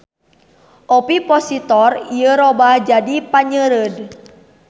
Ovipositor ieu robah jadi panyeureud.